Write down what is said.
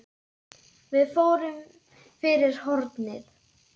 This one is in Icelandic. Við fórum fyrir hornið.